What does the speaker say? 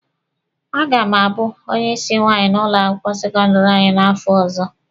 A ga m abụ onye ịsị nwaanyị n'ụlọ akwụkwọ sekọndịrị anyị n'afọ ọzọ.